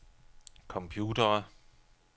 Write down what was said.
computere